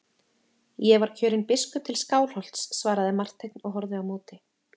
Ég var kjörinn biskup til Skálholts, svaraði Marteinn og horfði á móti.